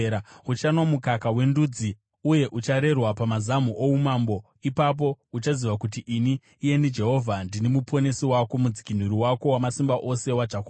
Uchanwa mukaka wendudzi uye ucharerwa pamazamu oumambo. Ipapo uchaziva kuti ini, iyeni Jehovha, ndini Muponesi wako, Mudzikinuri wako, Wamasimba Ose waJakobho.